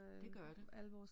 Det gør det